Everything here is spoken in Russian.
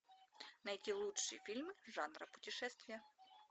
найти лучший фильм жанра путешествия